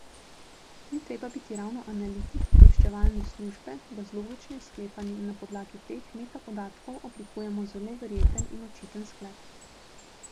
Ni treba biti ravno analitik obveščevalne službe, da z logičnim sklepanjem na podlagi teh metapodatkov oblikujemo zelo verjeten in očiten sklep.